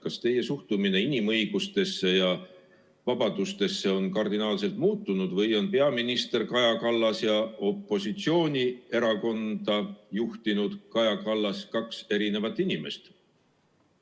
Kas teie suhtumine inimõigustesse ja vabadustesse on kardinaalselt muutunud või on peaminister Kaja Kallas ja opositsioonierakonda juhtinud Kaja Kallas kaks erinevat inimest?